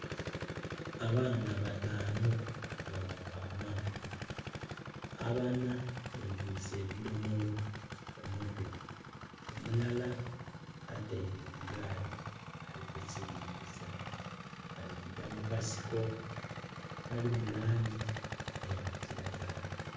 Abaana bataanu nga bava amaadhi, abana betiise ebidhomolo ku mutwe, omulala ataile ku gaali, ali kusiringisa, bali kugya mu kasiko akali mu langi eya kiragala.